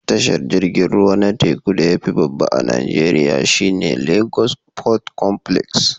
Tashar jirgin ruwa na teku da ya fi babba a Najeriya shi ne Lagos Port Complex